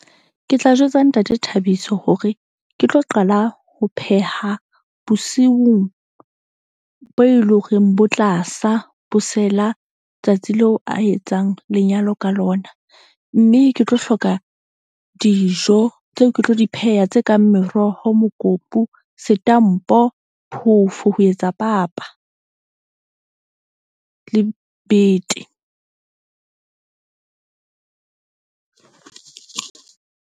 Ke tla jwetsa Ntate Thabiso hore ke tlo qala ho pheha bosiung bo e leng hore bo tla sa bo sela tsatsi leo a etsang lenyalo ka lona. Mme ke tlo hloka dijo tseo, ke tlo di pheha. Tse kang meroho mokopu, setampo, phofo ho etsa papa le bete .